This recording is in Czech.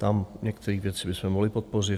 Tam některé věci bychom mohli podpořit.